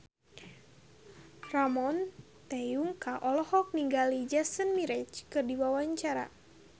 Ramon T. Yungka olohok ningali Jason Mraz keur diwawancara